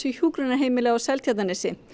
hjúkrunarheimili á Seltjarnarnesi